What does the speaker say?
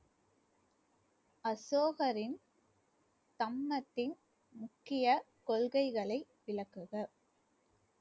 அசோகரின் தம்மத்தின் முக்கிய கொள்கைகளை விளக்குக